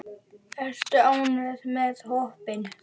Ertu ánægður með hópinn?